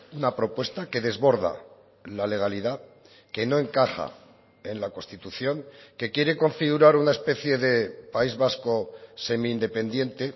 una propuesta que desborda la legalidad que no encaja en la constitución que quiere configurar una especie de país vasco semi independiente